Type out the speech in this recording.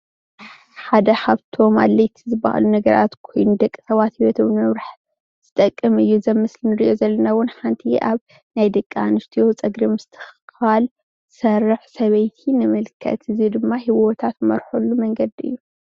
ሓደ ካብቶም ኣድለይቲ ዝባሃሉ ነገራት ኮይኑ ሰባት ሂወቶም ንምምራሕ ዝጠቅም እዩ፡፡ እዚ ኣብ ምስሊ እንሪኦ ዘለና እውን ሓንቲ ናይ ደቂ ኣነስትዮ ፀጉሪ ምስትክካል እትሰርሕ ሰበይቲ ንምልከት፡፡ እዚ ድማ ሂወታ እትመርሓሉ መንገዲ እዩ፡፡